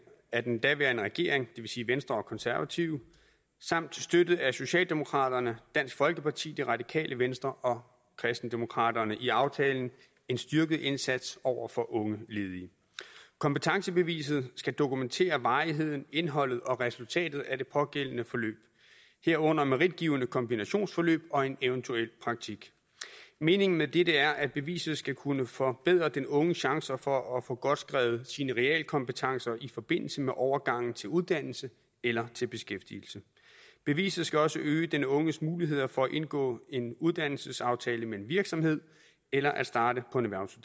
af den daværende regering det vil sige venstre og konservative samt støttet af socialdemokraterne dansk folkeparti det radikale venstre og kristendemokraterne i aftalen en styrket indsats over for unge ledige kompetencebeviset skal dokumentere varigheden indholdet og resultatet af det pågældende forløb herunder meritgivende kombinationsforløb og en eventuel praktik meningen med dette er at beviset skal kunne forbedre den unges chancer for at få godskrevet sine realkompetencer i forbindelse med overgangen til uddannelse eller til beskæftigelse beviset skal også øge den unges muligheder for at indgå en uddannelsesaftale med en virksomhed eller at starte